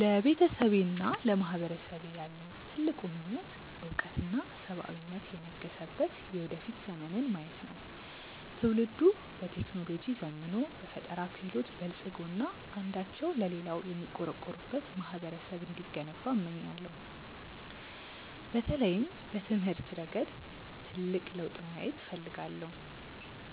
ለቤተሰቤና ለማህበረሰቤ ያለኝ ትልቁ ምኞት እውቀትና ሰብአዊነት የነገሰበት የወደፊት ዘመንን ማየት ነው። ትውልዱ በቴክኖሎጂ ዘምኖ፣ በፈጠራ ክህሎት በልፅጎ እና አንዳቸው ለሌላው የሚቆረቆሩበት ማህበረሰብ እንዲገነባ እመኛለሁ። በተለይም በትምህርት ረገድ ትልቅ ለውጥ ማየት እፈልጋለሁ፤